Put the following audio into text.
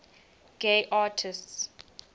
gay artists